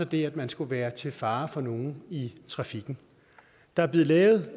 det at man skulle være til fare for nogen i trafikken der er blevet lavet